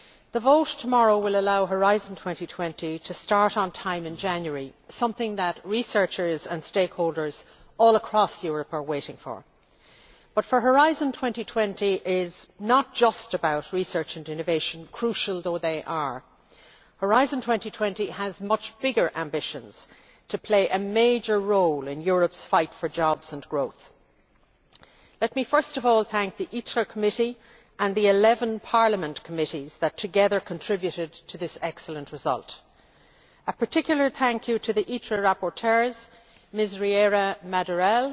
The vote tomorrow will allow Horizon 2020 to start on time in January, something that researchers and stakeholders all across Europe are waiting for. But Horizon 2020 is not just about research and innovation, crucial though they are. Horizon 2020 has much bigger ambitions to play a major role in Europe's fight for jobs and growth. Let me first of all thank the Committee on Industry, Research and Energy and the 11 Parliament committees that together contributed to this excellent result. A particular thank you to the ITRE rapporteurs Ms Riera Madurell,